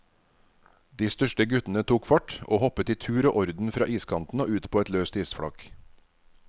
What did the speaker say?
De største guttene tok fart og hoppet i tur og orden fra iskanten og ut på et løst isflak.